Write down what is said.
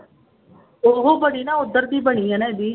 ਉਹ ਬਣੀ ਨਾ ਉੱਧਰ ਦੀ ਬਣੀ ਹੈ ਨਾ ਇਹਦੀ